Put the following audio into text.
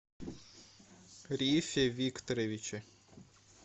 рифе викторовиче